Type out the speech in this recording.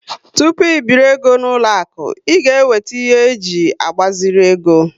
Tupu ibiri égo n'uloaku, ị ga eweta ihe e ji agbaziri ego